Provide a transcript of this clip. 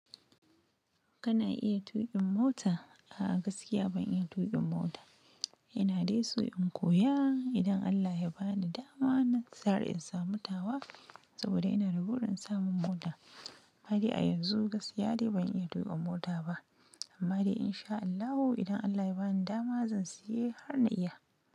Kana iya tuƙin mota? A'a, gaskiya ban iya tuƙin mota. Ina dai so in koya, idan Allah ya ba ni dama na tsara in samu tawa saboda ina da gurin samun mota amma dai a yanzu gaskiya dai ban iya tuƙin mota ba. Amma dai in sha Allahu idan Allah ya ba ni dama zan siya har na iya.